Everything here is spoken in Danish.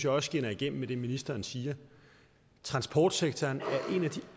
også skinner igennem det ministeren siger transportsektoren